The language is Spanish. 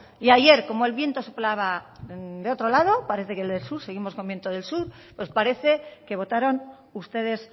y ayer como el viento soplaba de otro lado parece que del sur seguimos con viento del sur pues parece que votaron ustedes